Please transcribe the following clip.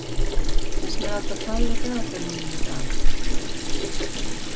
Esmeralda, hvað er á dagatalinu mínu í dag?